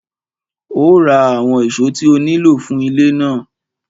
Ó ra àwọn ìṣó tí ó nílò fún ilé náà.